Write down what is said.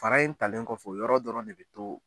Fara in talen kɔfɛ o yɔrɔ dɔrɔn de bɛ to.